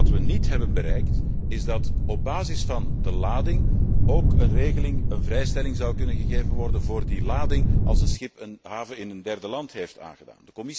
Wat we niet hebben bereikt, is dat op basis van de lading ook een regeling, een vrijstelling, kan worden gegeven voor die lading als een schip een haven in een derde land heeft aangedaan.